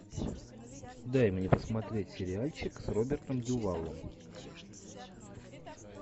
дай мне посмотреть сериальчик с робертом дюваллом